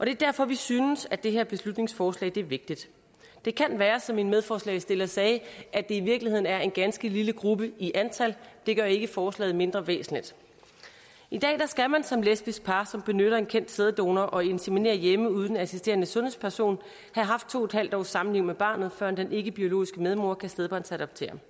er derfor vi synes at det her beslutningsforslag er vigtigt det kan være som min medforslagsstiller sagde at det i virkeligheden er en ganske lille gruppe i antal det gør ikke forslaget mindre væsentligt i dag skal man som lesbisk par som benytter en kendt sæddonorer og inseminerer hjemme uden en assisterende sundhedsperson have haft to en halv års samliv med barnet før den ikkebiologiske medmoder kan stedbarnsadoptere